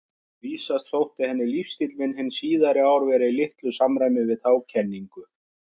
Vísast þótti henni lífsstíll minn hin síðari ár vera í litlu samræmi við þá kenningu.